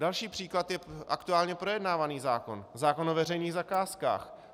Další příklad je aktuálně projednávaný zákon - zákon o veřejných zakázkách.